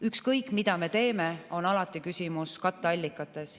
Ükskõik mida me teeme, alati on küsimus katteallikates.